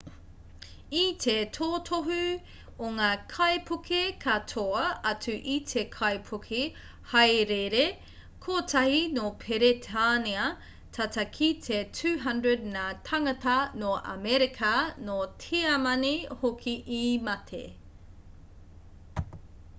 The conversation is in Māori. i te totohu o ngā kaipuke katoa atu i te kaipuke hāereere kotahi nō peretānia tata ki te 200 ngā tāngata no amerika nō tiamani hoki i mate